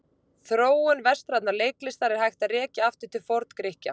Þróun vestrænnar leiklistar er hægt að rekja aftur til Forngrikkja.